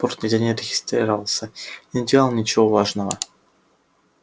борт нигде не регистрировался и не делал ничего важного